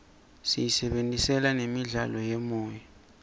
siyisebentisela nemidlalo yemoya